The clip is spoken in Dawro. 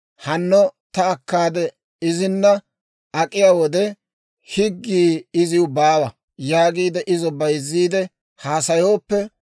‹Hanno ta akkaade izina ak'iyaa wode, higgii iziw baawa› yaagiide izo bayzziide haasayooppe,